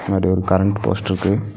முன்னாடி ஒரு கரண்ட் போஸ்ட்ருக்கு .